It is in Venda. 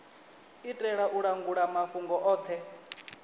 itela u langula mafhungo othe